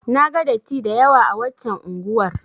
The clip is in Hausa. Na ga datti da yawa a waccan unguwar.